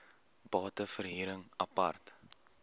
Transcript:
bate verhuring apart